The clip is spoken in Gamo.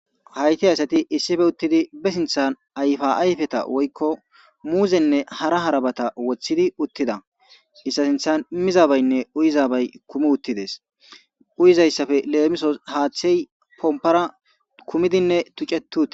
Hayitti asati issippe uttidi be sinththan ayifa ayiffeta woyikko muzzene hara harabata wothidi uttida izeta sinthan mizabayinne uuyizabayi kumi uttides uyizzayisappe lemmisos haththeyi pompparanne kummidi tucceti uttides.